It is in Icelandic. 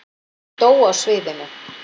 Dó á sviðinu